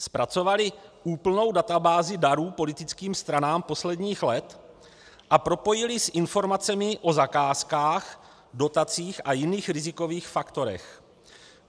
Zpracovali úplnou databázi darů politickým stranám posledních let a propojili s informacemi o zakázkách, dotacích a jiných rizikových faktorech.